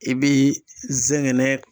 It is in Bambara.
I bi zɛgɛnɛ